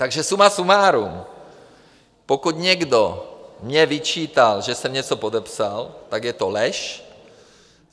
Takže suma sumárum, pokud někdo mně vyčítal, že jsem něco podepsal, tak je to lež.